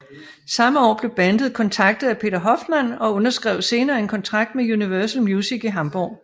Samme år blev bandet kontaktet af Peter Hoffmann og underskrev senere en kontrakt med Universal Music i Hamburg